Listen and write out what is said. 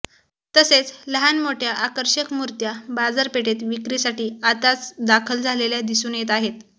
तसेच लहान मोठ्या आकर्षक मुर्त्या बाजारपेठेत विक्रीसाठी आताच दाखल झालेल्या दिसून येत आहेत